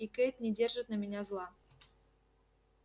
и кэйд не держит на меня зла